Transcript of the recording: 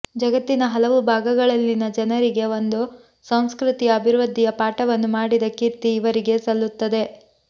ಜಗತ್ತಿಿನ ಹಲವು ಭಾಗಗಳಲ್ಲಿನ ಜನರಿಗೆ ಒಂದು ಸಂಸ್ಕೃತಿಯ ಅಭಿವೃದ್ಧಿಿಯ ಪಾಠವನ್ನು ಮಾಡಿದ ಕೀರ್ತಿ ಇವರಿಗೆ ಸಲ್ಲುತ್ತದೆ